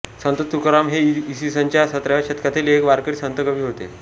संत तुकाराम हे इ स च्या सतराव्या शतकातील एक वारकरी संत कवी होते